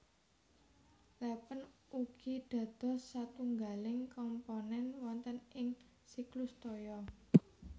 Lèpèn ugi dados satunggaling komponèn wonten ing siklus toya